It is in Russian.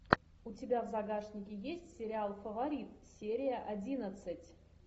у тебя в загашнике есть сериал фаворит серия одиннадцать